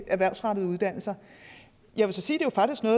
erhvervsfremmende uddannelser jeg vil så sige